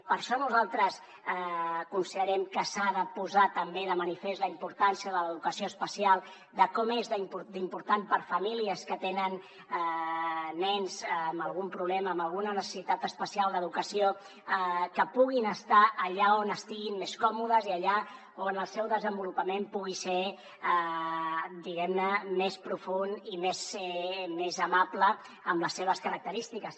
per això nosaltres considerem que s’ha de posar també de manifest la importància de l’educació especial de com n’és d’important per a famílies que tenen nens amb algun problema amb alguna necessitat especial d’educació que puguin estar allà on estiguin més còmodes i allà on el seu desenvolupament pugui ser diguem ne més profund i més amable amb les seves característiques